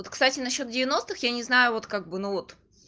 вот кстати насчёт девяностых я не знаю вот как бы ну вот